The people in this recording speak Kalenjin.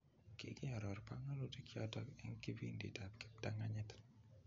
Kikiaror panganutik chotok eng kipindit ab kiptanganyit.